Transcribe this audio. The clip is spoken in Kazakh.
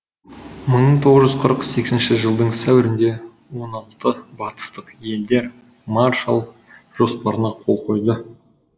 мың тоғыз жүз қырық сегізінші жылдың сәуірінде ол алты батыстық елдер маршалл жоспарына қол қойды